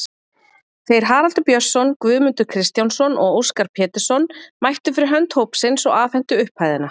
Þeir Haraldur Björnsson, Guðmundur Kristjánsson og Óskar Pétursson mættu fyrir hönd hópsins og afhentu upphæðina.